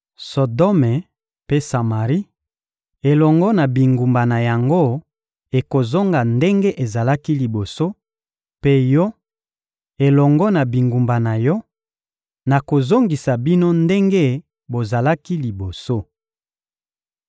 Sodome mpe Samari elongo na bingumba na yango ekozonga ndenge ezalaki liboso; mpe yo elongo na bingumba na yo, nakozongisa bino ndenge bozalaki liboso.